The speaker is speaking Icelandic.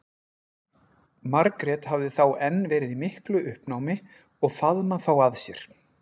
Margrét hafði þá enn verið í miklu uppnámi og faðmað þá að sér.